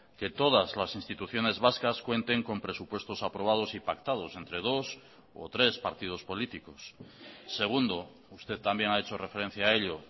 que todas las instituciones vascas cuenten con presupuestos aprobados y pactados entre dos o tres partidos políticos segundo usted también ha hecho referencia a ello